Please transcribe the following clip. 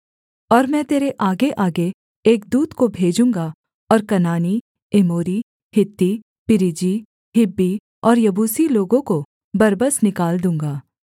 और मैं तेरे आगेआगे एक दूत को भेजूँगा और कनानी एमोरी हित्ती परिज्जी हिब्बी और यबूसी लोगों को बरबस निकाल दूँगा